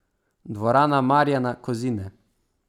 Dvorana Marjana Kozine.